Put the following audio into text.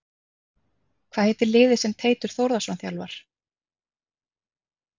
Hvað heitir liðið sem Teitur Þórðarson þjálfar?